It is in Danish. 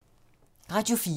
Radio 4